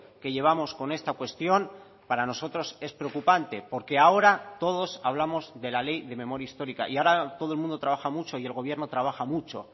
que llevamos con esta cuestión para nosotros es preocupante porque ahora todos hablamos de la ley de memoria histórica y ahora todo el mundo trabaja mucho y el gobierno trabaja mucho